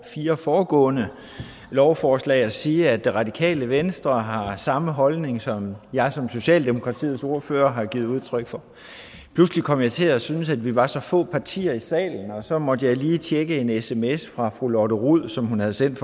fire foregående lovforslag at sige at det radikale venstre har samme holdning som jeg som socialdemokratiets ordfører har givet udtryk for pludselig kom jeg til at synes at vi var så få partier i salen og så måtte jeg lige tjekke en sms fra fru lotte rod som hun havde sendt